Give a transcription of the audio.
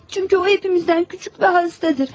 Çünki o hamımızdan kiçik və xəstədir.